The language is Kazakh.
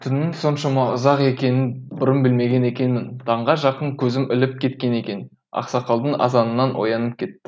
түннің соншама ұзақ екенін бұрын білмеген екенмін таңға жақын көзім іліп кеткен екен ақсақалдың азанынан оянып кеттім